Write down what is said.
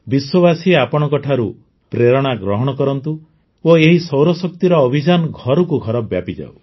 ବିଶ୍ୱବାସୀ ଆପଣଙ୍କ ଠାରୁ ପ୍ରେରଣା ଗ୍ରହଣ କରନ୍ତୁ ଓ ଏହି ସୌରଶକ୍ତିର ଅଭିଯାନ ଘରକୁ ଘର ବ୍ୟାପିଯାଉ